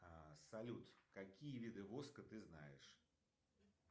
салют какие виды воска ты знаешь